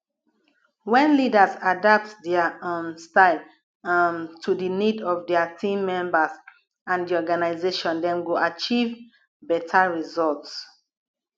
when leaders adapt dia um style um to di need of dia team members and di organization dem go achieve beta results